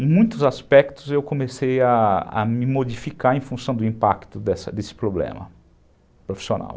Em muitos aspectos eu comecei a a me modificar em função do impacto desse problema profissional.